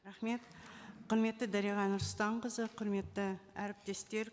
рахмет құрметті дариға нұрсұлтанқызы құрметті әріптестер